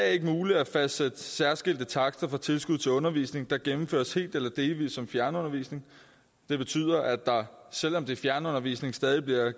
ikke muligt at fastsætte særskilte takster for tilskud til undervisning der gennemføres helt eller delvis som fjernundervisning det betyder at der selv om det er fjernundervisning stadig